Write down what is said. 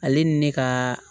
Ale ni ne ka